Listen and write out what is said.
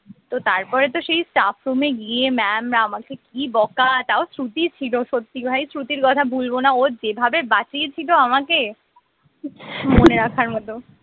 তো তারপরে তো সেই staff room এ গিয়ে mam আমাকে কি বকা তাও শ্রুতি ছিল সত্যি ভাই শ্রুতির কথা ভুলব না ও যেভাবে বাঁচিয়েছিল আমাকে মনে রাখার মত